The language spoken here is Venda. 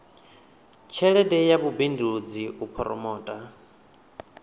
tshelede ya vhubindudzi u phoromotha